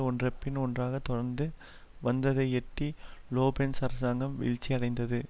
ஒன்றன்பின் ஒன்றாக தொடர்ந்து வந்ததையெட்டி லோப்பென்ஸ் அரசாங்கம் வீழ்ச்சியடைந்தது